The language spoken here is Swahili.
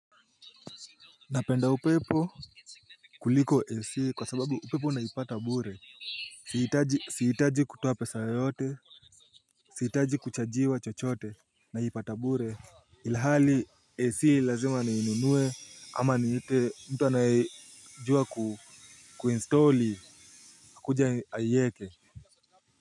Napenda upepo kuliko AC kwa sababu upepo unaipata bure. Sihitaji kutuoa pesa yoyote. Sihitaji kuchajiwa chochote naipata bure. Ilhali AC lazima niinunuwe ama niite mtu anayejua ku kuinstalli akuja aieke. Kwa hivyo.